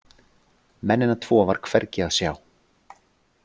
Mennina tvo var hvergi að sjá.